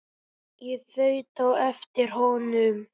Ég þaut á eftir honum.